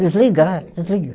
Desliga, desliga.